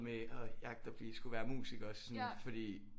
Med at jagte at blive at skulle være musiker også fordi